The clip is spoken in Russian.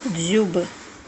дзюбы